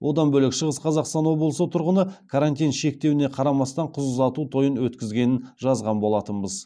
одан бөлек шығыс қазақстан облысында тұрғыны карантин шектеуіне қарамастан қыз ұзату тойын өткізгенін жазған болатынбыз